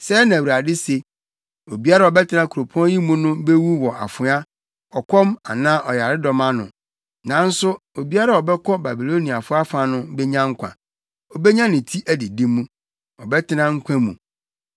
“Sɛɛ na Awurade se: Obiara a ɔbɛtena kuropɔn yi mu no bewu wɔ afoa, ɔkɔm anaa ɔyaredɔm ano, nanso obiara a ɔbɛkɔ Babiloniafo afa no benya nkwa. Obenya ne ti adidi mu, ɔbɛtena nkwa mu.